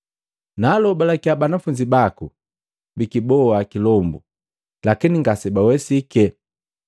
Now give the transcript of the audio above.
Naalobalakiya banafunzi baku bikiboha kilombu, lakini ngasebawesike.”